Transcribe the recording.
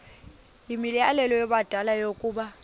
yimianelo yabadala yokaba